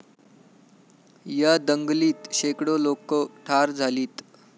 या दंगलीत शेकडो लोकं ठार झालीत.